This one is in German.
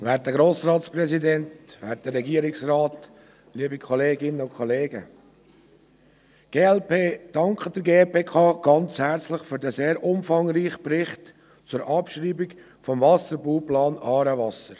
Die glp dankt der GPK herzlich für diesen sehr umfangreichen Bericht zur Abschreibung des Wasserbauplans «Aarewasser».